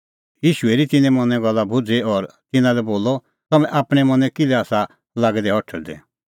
ईशू हेरी तिन्नें मनें गल्ला भुझ़ी और तिन्नां लै बोलअ तम्हैं आपणैं मनैं किल्है आसा लागै दै हठल़दै